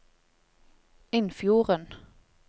Innfjorden